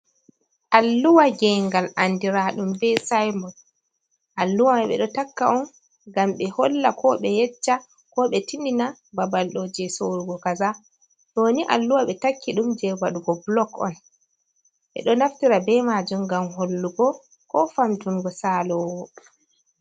Alluwa ge ngal andiraɗum be synbod alluha man ɓeɗo takka on ngam ɓe holla ko ɓe yecca ko ɓe tin ndina babalɗo je sorrugo kaza ɗoni alluha ɓe takki ɗum je wadugo blog on ɓeɗo naftira be majum ngam hollugo ko famtungo salowo.